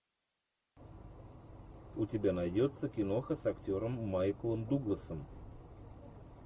у тебя найдется киноха с актером майклом дугласом